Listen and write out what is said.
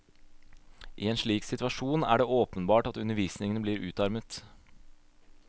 I en slik situasjon er det åpenbart at undervisningen blir utarmet.